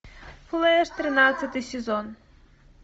флэш тринадцатый сезон